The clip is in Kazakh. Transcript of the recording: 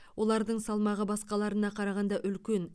олардың салмағы басқаларына қарағанда үлкен